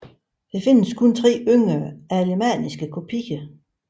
Der findes kun tre yngre alemanniske kopier